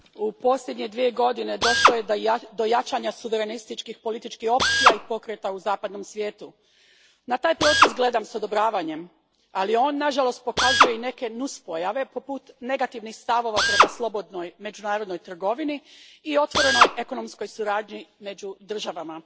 Gospodine predsjedniče, u posljednje dvije godine došlo je do jačanja suverenističkih političkih opcija i pokreta u zapadnom svijetu. Na taj proces gledam s odobravanjem, ali on nažalost pokazuje i neke nuspojave, poput negativnih stavova prema slobodnoj međunarodnoj trgovini i otvorenoj ekonomskoj suradnji među državama.